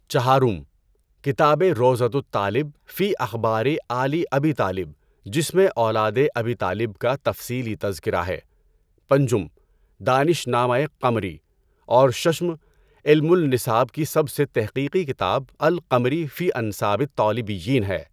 چہارم: کتاب روضۃُ الطالب فی اِخبارِ آلِ اَبِی طالب جس میں اولادِ ابی طالب کا تفصیلی تذکرہ ہے۔ پنجم: دانشنامۂ قمری، اور ششم: علم الاَنساب کی سب سے تحقیقی کتاب القمری فی اَنسابِ الطالبیّین ہے۔